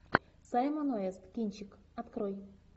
саймон уэст кинчик открой